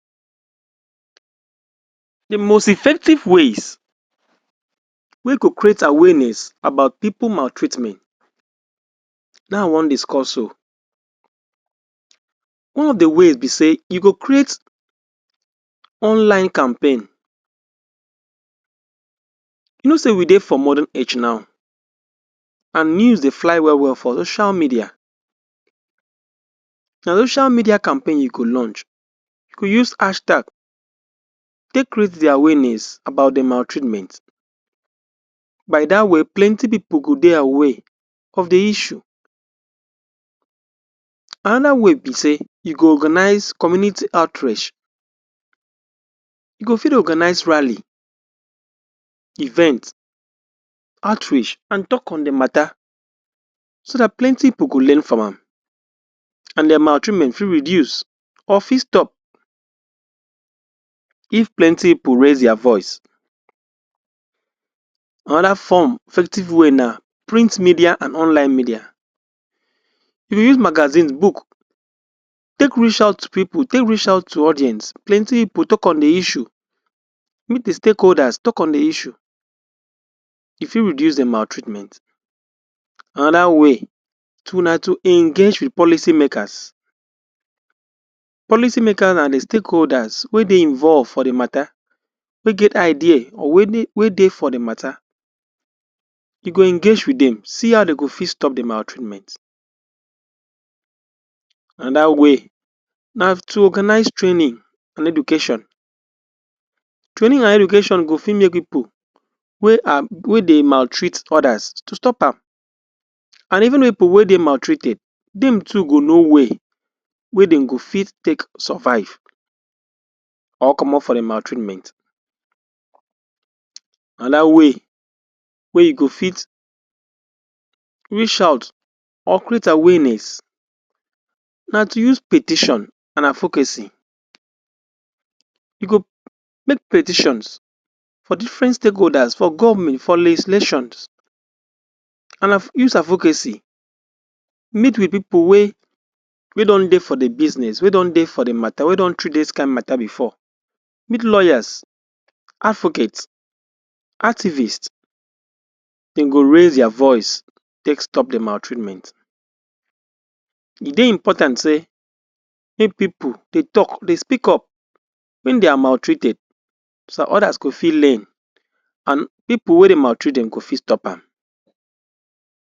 Di most effective ways wey go create awareness about pipo maltreatment na I wan discuss so. di ways be say you go create online campaign, you know say we dey for modern age now, and news dey fly well well for ocial media. Na ocial media campaign you go lunch, you go use hashtag take create di awareness about di maltreament. By dat way, plenty pipo go dey aware of di issue. Anoda way be say you go organise community outrech, you go fit organise rally, event, outreach and tok on di matta so dat plenty pipo go learn from am and di maltreament fit reduce or fit stop if plenty pipo raise dia voice. Anoda form of effective way na print media and online media. If you use magazine, book, take reach out to pipo take reach out to audience. Plenty pipo tok on di issue, meet [um]stakeholders tok on di issue, e fit reduce di maltreatment. Anoda way to na to engage wit policy makers. Policy makers na di stakeholders wey dey involve for di matta wey get idea wey dey for di matta, you go engage wit dem see how dem go fit stop di maltreament. Anoda way na to organise training and education. Training and education go fit make pipo wey dey maltreat odas to stop am and even pipo wey dey maltreated dem to go know way wey dem go fit take survive or comot for di maltreament. Anoda way wey you go fit reach out or create awareness na to use petition and avocacy. You go make petitions for different stakeholders for govment for legislations and use avocacy meet wit pipo wey don dey for di biznes wey don dey for d matta wey don treat dis kain matta bifor, meet lawyers, advocates, activists dem go raise dia voice take stop di maltreament. E dey important say make pipo dey tok, dey speak up wen dey are maltreated so dat odas go fit learn and pipo wey dey maltreat dem go fit stop am.